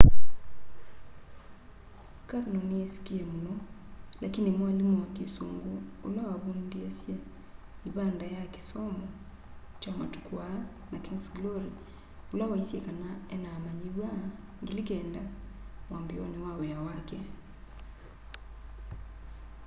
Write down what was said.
karno ni yisikie muno lakini mwalimu wa kisungu ula wavundiesye ivanda ya kisomo kya matuku aa na king's glory ula waisye kana ena amanyiwa 9,000 mwambioni wa wia wake